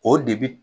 O de bi